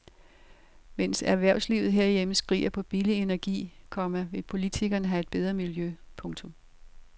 Mens erhvervslivet herhjemme skriger på billig energi, komma vil politikerne have et bedre miljø. punktum